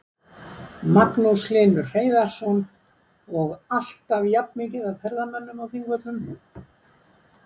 Magnús Hlynur Hreiðarsson: Og alltaf jafnt mikið af ferðamönnum á Þingvöllum?